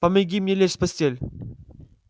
помоги мне лечь в постель